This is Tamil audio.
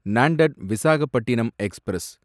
நான்டெட் விசாகப்பட்டினம் எக்ஸ்பிரஸ்